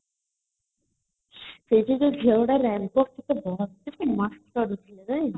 ସେଠି ଯୋଉ ସେଟା ବହୁତ ହି କରିଥିଲା ରେ